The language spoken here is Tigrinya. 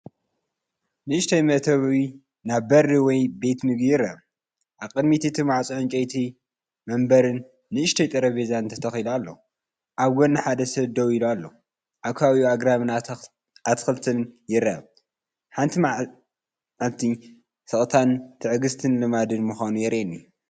ንእሽቶ መእተዊ ናብ በሪ ወይ ቤት ምግቢ ይርአ። ኣብ ቅድሚ እቲ ማዕጾ ዕንጨይቲ መንበርን ንእሽቶ ጠረጴዛን ተተኺሉኣሎ፣ ኣብ ጎኑ ሓደ ሰብ ደው ኢሉ ኣሎ። ኣብ ከባቢኡ ኣግራብን ኣትክልትን ይርአ። ሓንቲ መዓልቲ ስቕታን ትዕግስትን ልማድ ምዃኑ የርእየኒ።